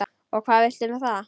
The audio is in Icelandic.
Og hvað viltu með það?